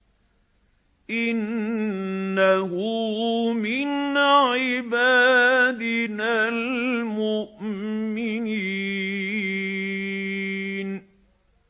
إِنَّهُ مِنْ عِبَادِنَا الْمُؤْمِنِينَ